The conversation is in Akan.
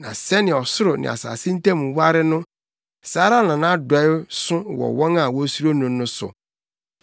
Na sɛnea ɔsoro ne asase ntam ware no, saa ara na nʼadɔe so wɔ wɔn a wosuro no no so.